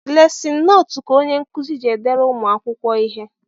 Lesin notu ka onyenkuzi ji edere ụmụakwụkwọ ihe